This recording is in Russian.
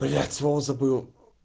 блять слово забыл